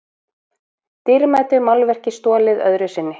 Dýrmætu málverki stolið öðru sinni